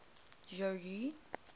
jogee